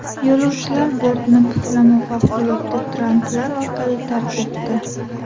Yo‘lovchilar bortni puflama favqulodda traplar orqali tark etdi.